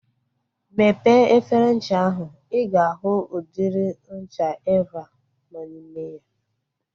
Mepee efere ncha ahu. I ga ahụ udiri ncha Eva nọ n'ime ya.